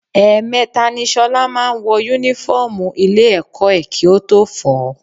Ẹ̀ẹ̀mẹta ni ṣọlá máa ń wọ Únífọ́ọ̀mù ilé-ẹ̀kọ́ ẹ̀ kí ó tó fọ̀ ọ́